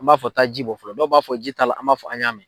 An b'a fɔ taa ji bɔ fɔlɔ dɔw b'a fɔ ji t'a la an b'a fɔ an y'a mɛn.